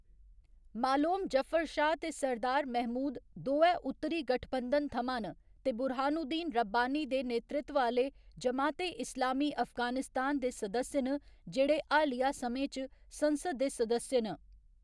मालोम जफर शाह ते सरदार महमूद दोऐ उत्तरी गठबंधन थमां न ते बुरहानुद्दीन रब्बानी दे नेतृत्व आह्‌‌‌ले जमात ए इस्लामी अफगानिस्तान दे सदस्य न जेह्‌‌ड़े हालिया समें च संसद दे सदस्य न।